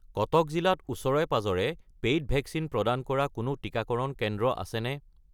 কটক জিলাত ওচৰে-পাঁজৰে paid vaccine প্ৰদান কৰা কোনো টিকাকৰণ কেন্দ্ৰ আছেনে?